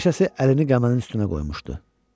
Bir neçəsi əlini qəmənin üstünə qoymuşdu.